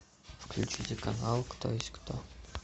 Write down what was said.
включите канал кто есть кто